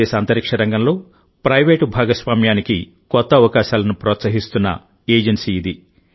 భారతదేశఅంతరిక్ష రంగంలో ప్రైవేటు భాగస్వామ్యానికి కొత్త అవకాశాలను ప్రోత్సహిస్తున్న ఏజెన్సీ ఇది